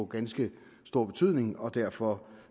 ganske stor betydning og derfor